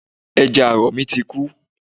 Ẹja àrọ̀ mi ti kú